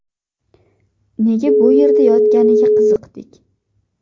Nega bu yerda yotganiga qiziqdik.